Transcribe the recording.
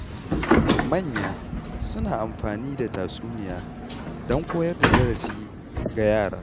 Manya suna amfani da tatsuniya don koyar da darasi ga yara.